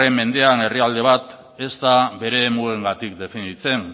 mendean herrialde bat ez da bere mugengatik definitzen